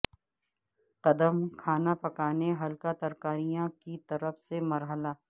قدم کھانا پکانے ہلکا ترکاریاں کی طرف سے مرحلہ